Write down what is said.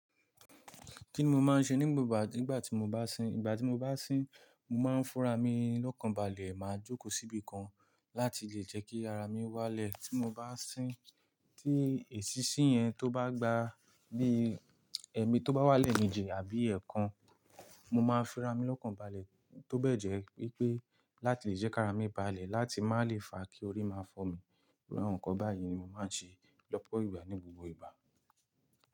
Kíni mo máa ń ṣe ni gbo ìgbà kígbà tí mo bá sín? Ìgbà tí mo bá sín, mo máa ń fúnra mi lọ́kàn balẹ̀, màá jókòó síbí kan láti lè jẹ́ kí ara mi wálẹ̀ tí mo bá sín. Tí èsínsín yẹn tó bá gba bí i ẹmi tó bá wá leemejì àbí ẹ̀ẹ̀kan, mo máa ń fira mi lọ́kàn balẹ̀ tó bẹ́ẹ̀ jẹ́ wípé láti lè jẹ́ kí ara mi balẹ̀ láti má lè fa kí orí máa fọ́ mi. Awọn nkán báyìí ni mo máa ń ṣe lọ́pọ̀ ìgbà ní gbogbo ìgbà.